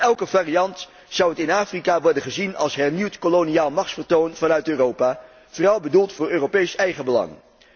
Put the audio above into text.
Elke variant zou in Afrika worden gezien als hernieuwd koloniaal machtsvertoon vanuit Europa, vooral bedoeld voor Europees eigenbelang.